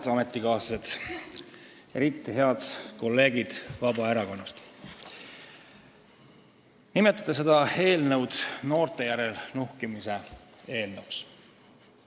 Head ametikaaslased – eriti head kolleegid Vabaerakonnast, kes te nimetate seda eelnõu noorte järel nuhkimise eelnõuks!